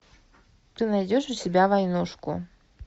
ты найдешь у себя войнушку